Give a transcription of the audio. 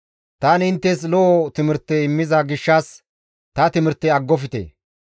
Tani inttes lo7o timirte immiza gishshas ta timirte aggofte.